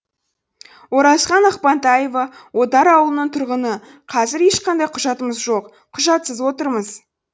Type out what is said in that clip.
оразхан ақпантаева отар ауылының тұрғыны қазір ешқандай құжатымыз жоқ құжатсыз отырмыз